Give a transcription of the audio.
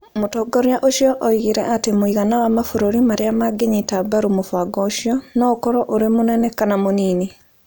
Mũtongoria ũcio oigire atĩ mũigana wa mabũrũri marĩa mangĩnyita mbaru mũbango ũcio no ũkorũo ũrĩ mũnene kana mũnini.